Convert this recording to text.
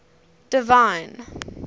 divine